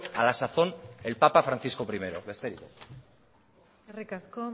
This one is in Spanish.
a la sazón el papa francisco primero besterik ez eskerrik asko